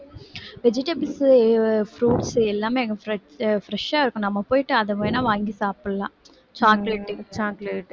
vegetables, fruits எல்லாமே அங்க fresh, fresh ஆ இருக்கும் நம்ம போயிட்டு அதை வேணா வாங்கி சாப்பிடலாம் chocolate, chocolate